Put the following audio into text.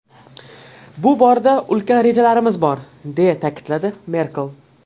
Bu borada ulkan rejalarimiz bor”, deya ta’kidladi Merkel.